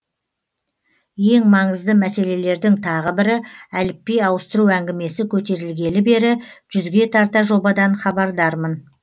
ең маңызды мәселелердің тағы бірі әліпби ауыстыру әңгімесі көтерілгелі бері жүзге тарта жобадан хабардармын